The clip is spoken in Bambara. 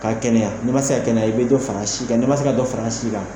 Ka kɛnɛya ni ma se ka kɛnɛya i bɛ dɔ fara an si kan, n ma se ka dɔ fara an si kan.